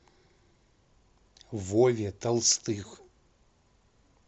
вове толстых